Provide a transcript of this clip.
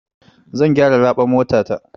Zan gyara raɓar motata.